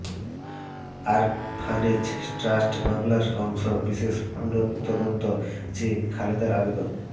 orphanage trust মামলার অংশ বিশেষ পুনঃতদন্ত চেয়ে খালেদার আবেদন